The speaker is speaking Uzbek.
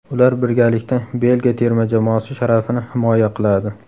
Ular birgalikda Belgiya terma jamoasi sharafini himoya qiladi.